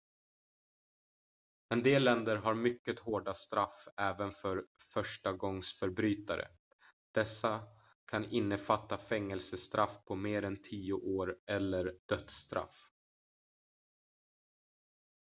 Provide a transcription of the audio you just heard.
en del länder har mycket hårda straff även för förstagångsförbrytare dessa kan innefatta fängelsestraff på mer än tio år eller dödsstraff